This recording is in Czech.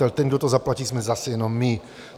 Ale ten, kdo to zaplatí, jsme zase jenom my.